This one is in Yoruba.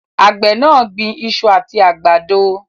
Àgbè náà gbin isu àti àgbàdo